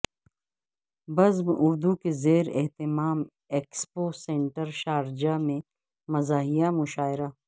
بزم اردو کے زیر اہتمام ایکسپو سنٹر شارجہ میں مزاحیہ مشاعرہ